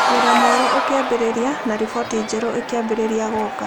Wĩra mwerũ ũkĩambĩrĩria, na riboti njerũ ikĩambĩrĩria gũka.